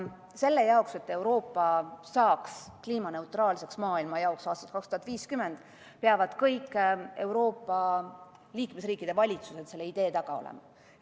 Selle jaoks, et Euroopa saaks aastaks 2050 kliimaneutraalseks maailmajaoks, peavad kõigi Euroopa liikmesriikide valitsused selle idee taga olema.